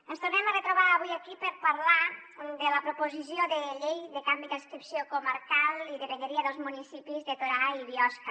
ens tornem a retrobar avui aquí per parlar de la proposició de llei de canvi d’adscripció comarcal i de vegueria dels municipis de torà i biosca